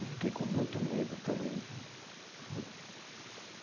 E fiquei com muito medo também, viu.